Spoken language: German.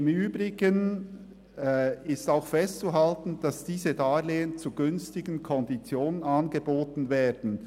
Im Übrigen ist auch festzuhalten, dass diese Darlehen zu günstigen Konditionen angeboten werden.